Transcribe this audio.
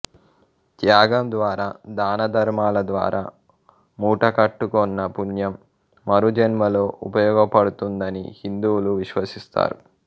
త్యాగం ద్వారా దాన ధర్మాల ద్వారా మూటకట్టుకొన్న పుణ్యం మరుజన్మలో ఉపయోగపడుతుందని హిందువులు విశ్వసిస్తారు